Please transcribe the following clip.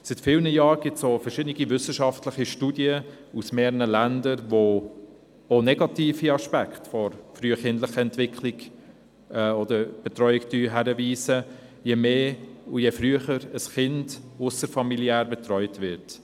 Seit vielen Jahren gibt es verschiedene wissenschaftliche Studien aus mehreren Ländern, die auch auf negative Aspekte der frühkindlichen Betreuung hinweisen, je mehr und je früher ein Kind ausserfamiliär betreut wird.